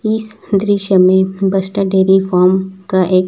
इस दृश्य में बस स्टैंड डेयरी फार्म का एक--